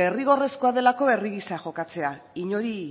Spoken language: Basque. derrigorrezkoa delako herri gisa jokatzea inori